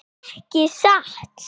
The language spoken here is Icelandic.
Ekki satt.